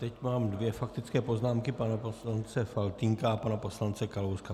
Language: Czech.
Teď mám dvě faktické poznámky - pana poslance Faltýnka a pana poslance Kalouska.